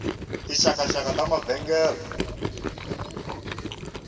tinxakanxaka ta mavengele